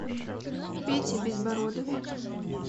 пете безбородове